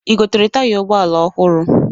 I gotere taya ụgbọala ọhụru?